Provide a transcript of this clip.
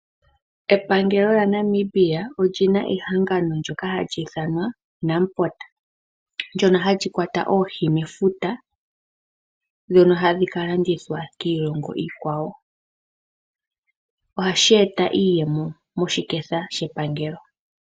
Epangelo lyaNamibia olina ehanagno ndyoka hali iithanwa Namport ndyono hali kwata oohi mefuta ndhono hadhi ka landithwa kiilongo iikwawo, ohashi eta iiyemo moshiketha shepangelo.